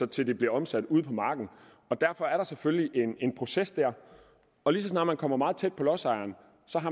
til det bliver omsat ude på marken derfor er der selvfølgelig en proces og lige så snart det kommer meget tæt på lodsejeren